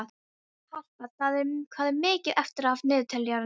Harpa, hvað er mikið eftir af niðurteljaranum?